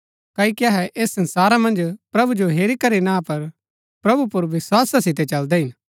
क्ओकि अहै ऐस संसारा मन्ज प्रभु जो हेरी करी ना पर प्रभु पुर विस्‍वासा सितै चलदै हिन